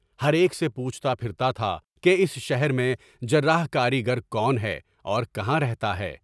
ہر ایک سے پوچھتا پھرتا تھا کہ اس شہر میں جراح کاری گر کون ہے اور کہاں رہتا ہے؟